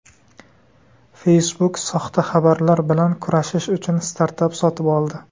Facebook soxta xabarlar bilan kurashish uchun startap sotib oldi.